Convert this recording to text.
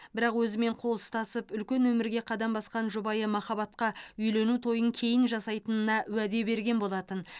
бірақ өзімен қол ұстасып үлкен өмірге қадам басқан жұбайы махаббатқа үйлену тойын кейін жасайтынына уәде берген болатын